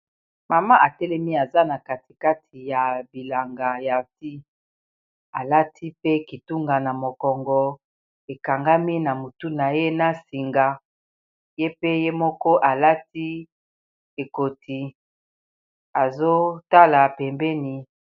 mama atelemi aza na katikati ya bilanga ya fi alati pe kitunga na mokongo ekangami na motu na ye na singa ye pe ye moko alati ekoti azotala pembeni